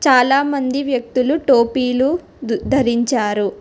చాలామంది వ్యక్తులు టోపీలు ధ ధరించారు.